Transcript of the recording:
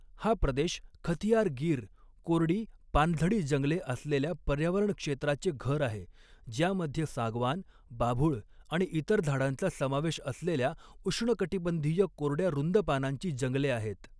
हा प्रदेश खथियार गिर कोरडी पानझडी जंगले असलेल्या पर्यावरण क्षेत्राचे घर आहे, ज्यामध्ये सागवान, बाभूळ आणि इतर झाडांचा समावेश असलेल्या उष्णकटिबंधीय कोरड्या रुंद पानांची जंगले आहेत.